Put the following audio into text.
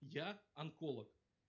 я онколог